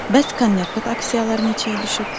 Bəs Nyu York aksiyaları neçəyə düşüb?